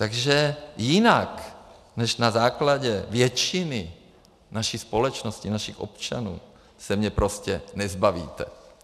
Takže jinak než na základě většiny naší společnosti, našich občanů, se mě prostě nezbavíte.